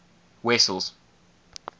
wessels